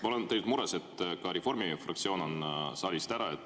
Ma olen tegelikult mures, et Reformierakonna fraktsioon on saalist ära.